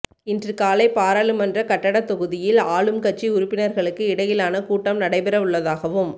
இன்று காலை பாராளுமன்ற கட்டடத் தொகுதியில் ஆளும் கட்சி உறுப்பினர்களுக்கு இடையிலான கூட்டம் நடைபெறவுள்ளதாகவும்